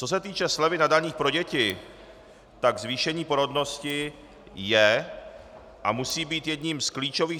Co se týče slevy na daních pro děti, tak zvýšení porodnosti je a musí být jedním z klíčových...